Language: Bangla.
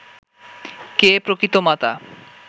কে প্রকৃত মাতা